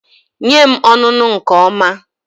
Nye m ọnụnụ nke ọma